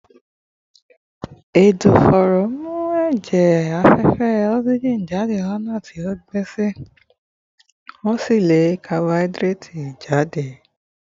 Ẹ̀dọ̀fóró ń mú ẹ̀jẹ̀ afẹ́fẹ́ oxygen jáde lọ́nà tó gbéṣẹ́, wọ́n sì ń lé carbon dioxide jáde